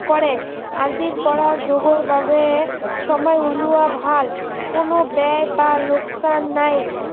কৰে আজিৰ পৰা যোগৰ বাবে সময় উলোৱা ভাল, কোনো বেয়া বা লোকচান নাই